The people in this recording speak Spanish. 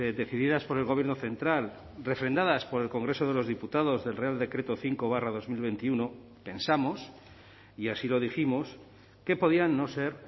decididas por el gobierno central refrendadas por el congreso de los diputados del real decreto cinco barra dos mil veintiuno pensamos y así lo dijimos que podían no ser